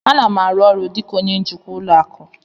A na m arụ ọrụ dị ka onye njikwa ụlọ akụ